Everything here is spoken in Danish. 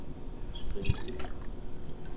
skriv ud